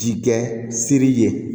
Jikɛ siri ye